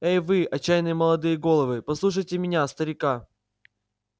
эй вы отчаянные молодые головы послушайте меня старика